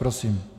Prosím.